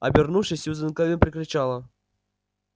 обернувшись сьюзен кэлвин прокричала